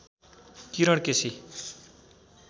Kiran KC